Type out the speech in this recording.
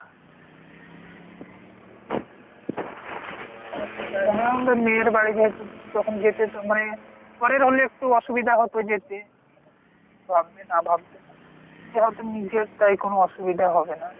এখন তো মেয়ের বাড়ি যেহেতু যখন যেতে মানে পরের হলে একটু অসুবিধা হত যেতে কি ভাববে না। ভাববে এ হয়তো নিজের তাই কোনো অসুবিধা হবে না।